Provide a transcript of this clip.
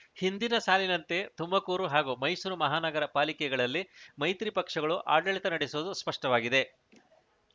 ಹಿಂದಿನ ಸಾಲಿನಂತೆ ತುಮಕೂರು ಹಾಗೂ ಮೈಸೂರು ಮಹಾನಗರ ಪಾಲಿಕೆಗಳಲ್ಲಿ ಮೈತ್ರಿ ಪಕ್ಷಗಳು ಆಡಳಿತ ನಡೆಸುವುದು ಸ್ಪಷ್ಟವಾಗಿದೆ